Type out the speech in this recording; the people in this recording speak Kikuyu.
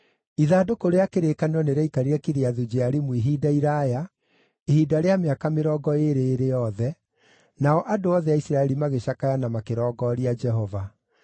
Ithandũkũ rĩa kĩrĩkanĩro nĩrĩaikarire Kiriathu-Jearimu ihinda iraaya, ihinda rĩa mĩaka mĩrongo ĩĩrĩ ĩrĩ yothe, nao andũ othe a Isiraeli magĩcakaya na makĩrongooria Jehova.